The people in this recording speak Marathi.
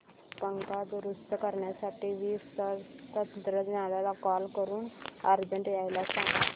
पंखा दुरुस्त करण्यासाठी वीज तंत्रज्ञला कॉल करून अर्जंट यायला सांग